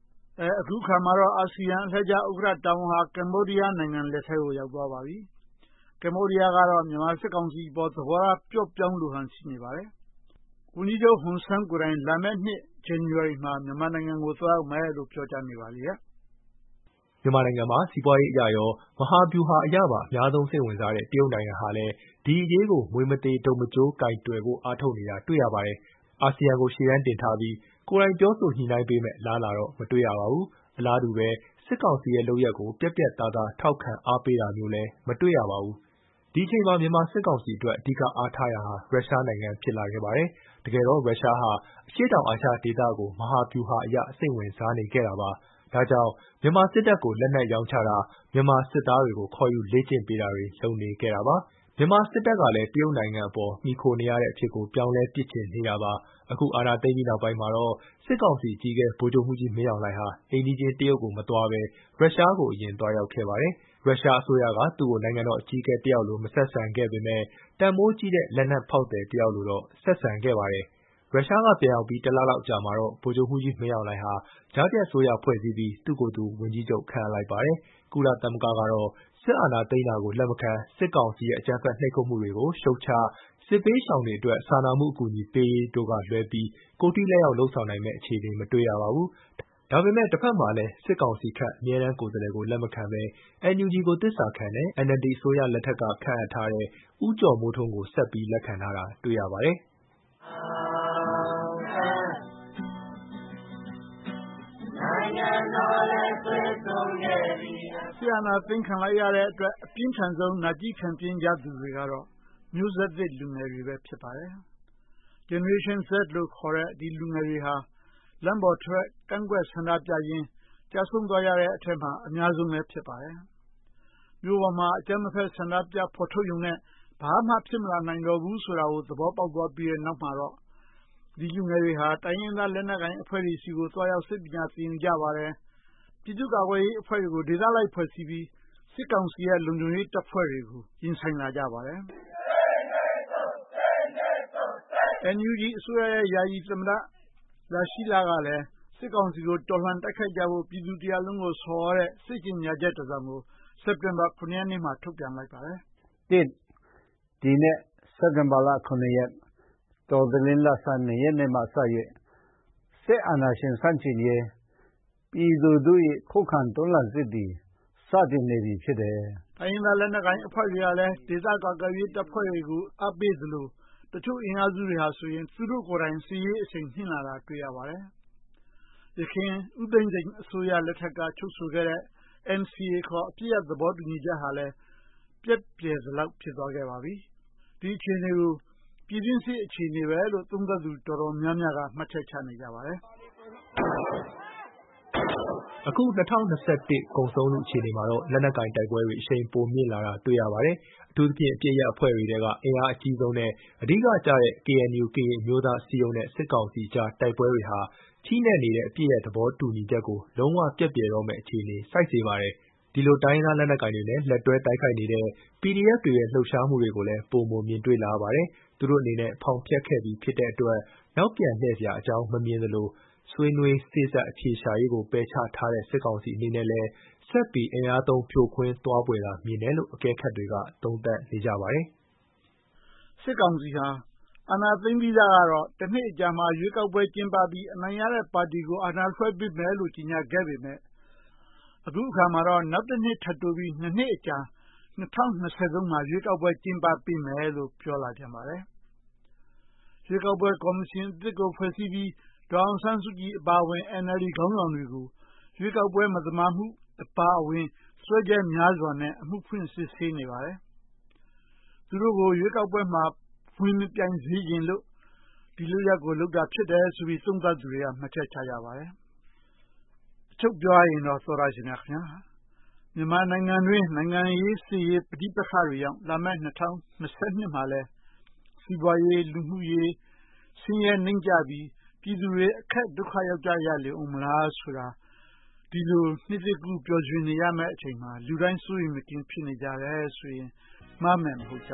။ အခုတော့ အာဆီယံဥက္ကဋ္ဌ အလှည့်ကျတာဝန်ဟာ ကမ္ဘောဒီးယားနိုင်ငံလက်ထဲ ရောက်ရှိသွားပါပြီ။ ကမ္ဘောဒီးယားကတော့ မြန်မာစစ်ကောင်စီအပေါ် သဘောထား ပျော့ပျောင်းလိုဟန် ရှိနေပါတယ်။ ဝန်ကြီးချုပ် ဟွန်ဆန်းကိုယ်တိုင် လာမယ်နှစ် ဇန်နဝါရီမှာ မြန်မာနိုင်ငံကို သွားရောက်မယ်လို့ ပြောကြားနေပါလေရဲ့။ မြန်မာနိုင်ငံမှာ စီးပွားရေးအရရော၊ မဟာဗျူဟာအရပါ အများဆုံးစိတ်ဝင်စားတဲ့ တရုတ်နိုင်ငံဟာလဲ ဒီအရေးကို မြွေမသေတုတ်မကျိုး ကိုင်တွယ်ဖို့ အားထုတ်နေတာကို တွေ့ရပါတယ်။ အာဆီယံကို ရှေ့တန်းတင်ထားပြီး ကိုယ်တိုင်ပြောဆိုညှိနှိုင်းပေးမယ့် အလားအလာတော့ မတွေ့ရပါဘူး။ အလားတူပဲ စစ်ကောင်စီရဲ့ လုပ်ရပ်ကို ပြတ်ပြတ်သားသား ထောက်ခံအားပေးတာမျိုးလဲ မတွေရပါဘူး။ ဒီအချိန်မှာ မြန်မာစစ်ကောင်စီအတွက် အဓိက အားထားရာဟာ ရုရှားနိုင်ငံ ဖြစ်လာခဲ့ပါတယ်။ တကယ်တော့ ရုရှားဟာ အရှေ့တောင်အာရှဒေသကို မဟာဗျူဟာအရ စိတ်ဝင်စားနေခဲ့တာပါ။ ဒါကြောင့် မြန်မာစစ်တပ်ကို လက်နက်ရောင်းချတာ၊ မြန်မာစစ်သားတွေကို ခေါ်ယူလေ့ကျင့်ပေးတာတွေ လုပ်နေခဲ့တာပါ။ မြန်မာစစ်တပ်ကလဲ တရုတ်နိုင်ငံပေါ် မှီခိုနေရတဲ့ အဖြစ်ကို ပြောင်းလဲပစ်ချင်နေတာပါ။ အခုအာဏာသိမ်ပြီးနောက်မှာတော့ စစ်ကောင်စီအကြီးအကဲ ဗိုလ်ချုပ်မှူးကြီးမင်းအောင်လှိုင်ဟာ အိမ်နီးချင်း တရုတ်ကိုမသွားဘဲ၊ ရုရှားကိုအရင် သွားရောက်ခဲ့ပါတယ်။ ရုရှားအစိုးရက သူ့ကိုနိုင်ငံတော်အကြီးအကဲ တယောက်လို မဆက်ဆံခဲ့ပေမဲ့၊ တန်ဖိုးကြီးတဲ့ လက်နက်ဖောက်သည် တယောက်လိုတော့ ဆက်ဆံခဲ့ပါတယ်။ ရုရှားပြန်ရောက်ပြီး တလလောက်အကြာမှာတော့ ဗိုလ်ချုပ်မျူးကြီးမင်းအောင်လှိုင်ဟာ ကြားဖြတ်အစိုးရဖွဲ့စည်းပြီး သူ့ကိုယ်သူ ဝန်ကြီးချုပ် ခန့်အပ်လိုက်ပါတယ်။ ကုလသမဂ္ဂကတော့ စစ်အာဏာသိမ်းတာကို လက်မခံ၊ စစ်ကောင်စီရဲ့ အကြမ်းဖက် နှိပ်ကွပ်မှုတွေကို ရှုတ်ချ၊ စစ်ဘေးရှောင်တွေအတွက် စာနာမှုအကူအညီပေးရေးတို့ကလွဲပြီး၊ ကိုယ်ထိလက်ရောက် လုပ်ဆောင်နိုင်မယ့် အခြေအနေ မတွေ့ရပါဘူး။ ဒါပေမဲ့ တဘက်မှာလဲ စစ်ကောင်စီခန့် အမြဲတန်းကိုယ်စားလှယ်ကို လက်မခံပဲ NUG ကို သစ္စာခံတဲ့၊ NLD အစိုးရလက်ထက်က ခန့်အပ်ထားတဲ့ ဦးကျော်မိုးထွန်း ကို ဆက်ပြီးတော့ လက်ခံထားတာကို တွေ့ရပါတယ်။ လက်နက်ကိုင်တိုက်ပွဲ စစ်အာသိမ်းတာခံလိုက်ရတဲ့အတွက် အပြင်းထန်ဆုံး နာကျည်းခံပြင်းခဲ့ကြသူတွေကတော့ မျိုးဆက်သစ်လူငယ်တွေပဲ ဖြစ်ပါတယ်။ Generation Z လို့ခေါ်တဲ့ ဒီမျိုးဆက်သစ် လူငယ်တွေဟာ လမ်းပေါ်ထွက် ကန့်ကွက်ဆန္ဒပြရင်း ကျဆုံးသွားရတဲ့အထဲမှာ အများဆုံးလည်း ဖြစ်ပါတယ်။ မြို့ပေါ်မှာ အကြမ်းမဖက် ဆန္ဒပြေဖော်ထုတ်ရုံနဲ့ ဘာမှဖြစ်မလာနိုင်တော့ဘူးဆိုတာကို သဘောပေါက်သွားပြီးနောက်မှာတော့ ဒီလူငယ်တွေဟာ တိုင်းရင်းသားလက်နက်ကိုင်အဖွဲ့တွေဆီ သွားရောက်ပြီး၊ စစ်ပညာသင်ယူကြပါတယ်။ ပြည်သူ့ကာကွယ်ရေးအဖွဲ့တွေကို ဒေသလိုက်ဖွဲ့စည်းပြီး၊ စစ်ကောင်စီရဲ့ လုံခြုံရေးတပ်ဖွဲ့တွေကို ရင်ဆိုင်လာကြပါတယ်။ NUG အစိုးရရဲ့ယာယီသမ္မတ လရှီးလာ က စစ်ကောင်စီကို တော်လှန်တိုက်ခိုက်ကြဖို့ ပြည်သူတရပ်လုံးကို ဆော်သြတဲ့ စစ်ကျေညာချက်တစောင်ကို စက်တင်ဘာ (၇) ရက်နေ့မှာ ထုတ်ပြန်ခဲ့ပါတယ်။ တိုင်းရင်းသားလက်နက်ကိုင်အဖွဲ့တွေကလည်း ဒေသကာကွယ်ရေးတပ်ဖွဲ့တွေကို အားပေးသလို၊ တချို့အင်အားစုတွေဆိုရင် သူတို့ကိုယ်တိုင် စစ်ရေးအရှိန် မြှင့်လာတာကို တွေ့ရပါတယ်။ ယခင် ဦးသိန်းစိန် အစိုးရ လက်ထက်ကတည်းက ချုပ်ဆိုခဲ့တဲ့ NCA အပစ်ရပ်သဘောတူညီချက်ဟာလည်း ပျက်ပြယ်သလောက် ဖြစ်သွားခဲ့ပါပြီ။ ဒီအခြေအနေကို ပြည်တွင်းစစ် အခြေအနေလို့ သုံးသပ်သူအတော်များများက မှတ်ချက်ချကြပါတယ်။ အခု ၂၀၂၁ ကုန်ဆုံးလု အခြေအနေမှာတော့ လက်နက်ကိုင်တိုက်ပွဲတွေ အရှိန်ပိုမြင့်လာတာ တွေ့ရပါတယ်။ အထူးသဖြင့် အပစ်ရပ်အဖွဲ့တွေအထဲ အင်အားအကြီးဆုံး နဲ့ အဓိကကျတဲ့ KNU ကရင်အမျိုးသားအစည်းအရုံးနဲ့ စစ်ကောင်စီအကြား တိုက်ပွဲတွေဟာ ချည့်နဲ့နေတဲ့ အပစ်ရပ်သဘောတူညီချက်ကို လုံးဝပျက်ပြယ်တော့မယ့် အခြေဆိုက်နေပါတယ်။ ဒီလိုတိုင်းရင်းသားလက်နက်ကိုင်တွေနဲ့ လက်တွဲ တိုက်ခိုက်နေတဲ့ PDF တွေရဲ့လှုပ်ရှားမှုတွေကိုလည်း ပိုမိုမြင်တွေ့လာရပါတယ်။ သူတို့အနေနဲ့ ဖောင်ဖျက်ခဲ့ပြီး ဖြစ်တဲ့အတွက် နောက်ပြန်လှည့် စရာအကြောင်း မမြင်သလို၊ ဆွေးနွေးစေ့စပ် အဖြေရှာရေးကို ပယ်ချထားတဲ့ စစ်ကောင်စီအနေနဲ့လည်း ဆက်လက်ပြီး အင်အားသုံးဖြိုခွင်း သွားဖွယ်သာ မြင်တယ်လို့ အကဲခတ်တွေက သုံးသပ်နေကြပါတယ်။ ရွေးကောက်ပွဲ ကတိနှင့် နောင်နှစ်အလားအလာ စစ်ကောင်စီဟာ အာဏာသိမ်းပြီးစကတော့ တနှစ်အကြာမှာ ရွေးကောက်ပွဲကျင်းပပြီး၊ အနိုင်ရတဲ့ပါတီကို အာဏာလွှဲပေးမယ်လို ကျေညာခဲ့ပေမဲ့၊ အခုတော့ တနှစ်ထပ်တိုးပြီး (၂) နှစ်အကြာ ၂၀၂၃ မှာ ရွေးကောက်ပွဲ ကျင်းပေးမယ်လို့ ပြောလာပြန်ပါတယ်။ ရွေးကောက်ပွဲကော်မရှင်အသစ်ကို ဖွဲ့စည်းပြီး၊ ဒေါ်အောင်ဆန်းစုကြည် အပါအဝင် NLD ခေါင်းဆောင်တွေကို ရွေးကောက်ပွဲ မဲမသမာမှုအပါအဝင် စွဲချက်များစွာနဲ့ အမှုဖွင့်စစ်ဆေးနေပါတယ်။ သူတို့ကို ရွေးကောက်ပွဲမှာ ဝင်မပြိုင်စေချင်လို့ ဒီလုပ်ရပ်ကို လုပ်တာဖြစ်တယ်လို့ သုံးသပ်သူတွေက မှတ်ချက်ပြုကြပါတယ်။ အချုပ်ပြောရရင်တော့ မြန်မာနိုင်ငံတွင်း နိုင်ငံရေး စစ်ရေး ပဋိပက္ခတွေကြောင့် လာမယ့် ၂၀၂၂ မှာလည်း စီးပွားရေး၊ လူမှုရေး ဆင်းရဲနိမ့်ကျပြီး ပြည်သူတွေ အခက်ဒုက္ခရောက်ကြလေရအုံးမလားဆိုတာကို ဒီလိုနှစ်သစ်ကူး ပျော်ရွှင်ရမယ့်အချိန်မှာ လူတိုင်းစိုးရိမ်မကင်း ဖြစ်နေကြတယ်ဆိုရင် မှားမယ်မဟုတ်ကြ